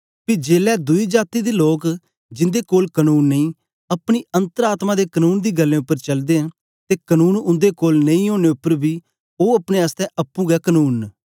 पी जेलै दुई जाती दे लोक जिन्दे कोल कनून नेई अपनी अन्तर आत्मा दे कनून दी गल्लें उपर चलदे न ते कनून उन्दे कोल नेई ओनें उपर बी ओ अपने आसतै अप्पुं गै कनून न